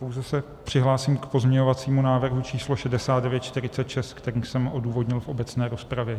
Pouze se přihlásím k pozměňovacímu návrhu číslo 6946, který jsem odůvodnil v obecné rozpravě.